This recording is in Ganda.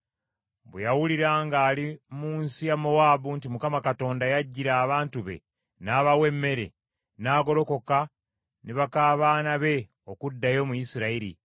Bwe yawulira ng’ali mu nsi ya Mowaabu nti Mukama Katonda yajjira abantu be n’abawa emmere, n’agolokoka ne baka baana be okuddayo mu Isirayiri.